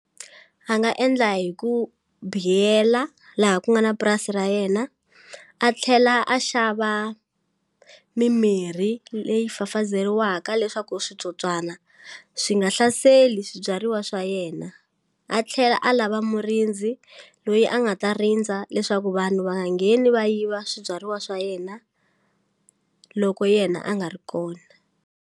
A nga endla hi ku biyela laha ku nga na purasi ra yena a tlhela a xava mimirhi leyi fafazeriwaka leswaku switsotswana swi nga hlaseli swibyariwa swa yena a tlhela a lava murindzi loyi a nga ta rindza leswaku vanhu va nga ngheni va yiva swibyariwa swa yena loko yena a nga ri kona.